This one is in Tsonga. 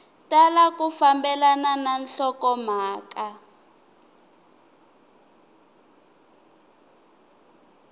tala ku fambelana na nhlokomhaka